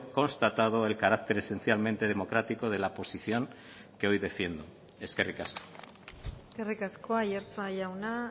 constatado el carácter esencialmente democrático de la posición que hoy defiendo eskerrik asko eskerrik asko aiartza jauna